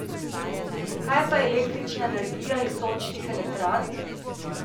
Kaj pa električna energija iz sončnih elektrarn?